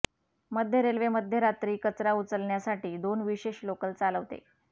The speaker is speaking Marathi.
मध्य रेल्वे मध्यरात्री कचरा उचलण्यासाठी दोन विशेष लोकल चालवते